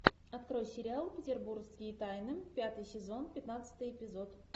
открой сериал петербургские тайны пятый сезон пятнадцатый эпизод